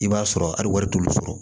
I b'a sɔrɔ hali wari t'olu sɔrɔ